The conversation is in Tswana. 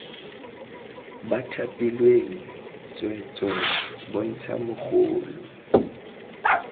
ba thapilweng tsweetswee bontsha mogolo